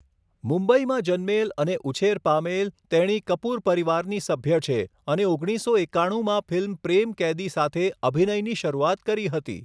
મુંબઇમાં જન્મેલ અને ઉછેર પામેલ, તેણી કપૂર પરિવારની સભ્ય છે અને ઓગણીસસો એકાણુંમાં ફિલ્મ 'પ્રેમ કૈદી' સાથે અભિનયની શરૂઆત કરી હતી.